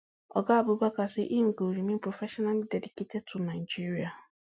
oga abubakar say im go remain professionally dedicated to nigeria